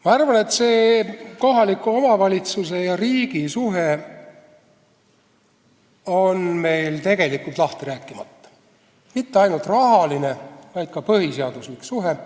Ma arvan, et kohaliku omavalitsuse ja riigi suhe on meil tegelikult lahti rääkimata, kusjuures mitte ainult rahaline, vaid ka põhiseaduslik suhe.